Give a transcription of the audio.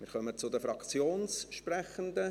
Wir kommen zu den Fraktionssprechenden.